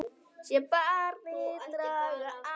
Sé barnið draga andann.